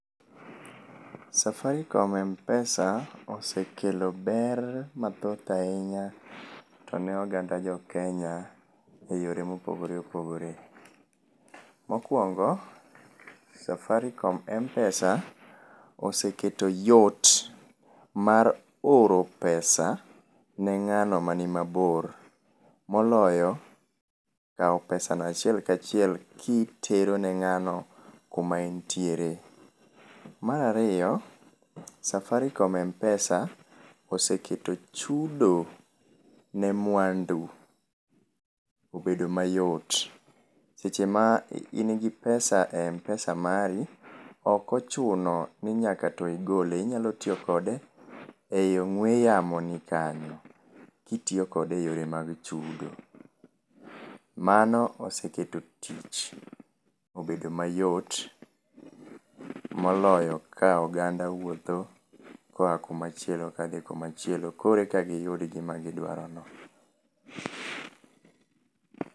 Safaricom Mpesa osekelo ber mathoth ahinya tone oganda jokenya e yore mopogore opogore. Mokuongo Safaricom Mpesa osekelo yot mar oro pesa ne ng'ano mani mabor moloyo kao pesano achiel kachiel kitero ne ng'ano kama entiere. Mar ariyo Safaricom Mpesa oseketo chudo ne mwandu obedo mayot seche ma in gi pesa e Mpesa mari, ok ochuno ni nyaka to igole, inya tiyo kode e ong'we yamo ni kanyo kitiyo kode e yore mag chudo. Mano oseketo tich obedo mayot moloyo ka oganda wuotho koa kuma chielo kadhi kuma chielo koro eka giyud gima gidwaro no.